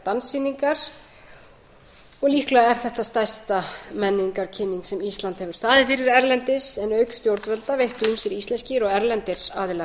danssýningar og líklega er þetta stærsta menningarkynning sem ísland hefur staðið fyrir erlendis en auk stjórnvalda veittu ýmsir íslenskir og erlendir aðilar